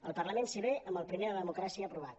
al parlament s’hi ve amb el primer de democràcia aprovat